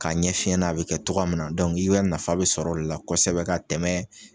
K'a ɲɛ f'i ɲɛna a bi kɛ tɔgɔya min na dɔnku i b'i ka nafa be sɔrɔ o de la kosɛbɛ ka tɛmɛ